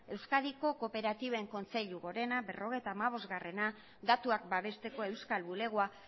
euskadiko kooperatiben kontseilu gorena berrogeita hamabosta datuak babesteko euskal bulegoa